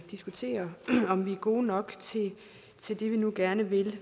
diskuterer om vi er gode nok til det vi nu gerne vil